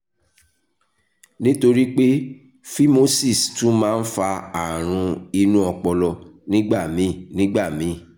nítorí pé phimosis tún máa ń fa àrùn inú ọpọlọ nígbà míì nígbà míì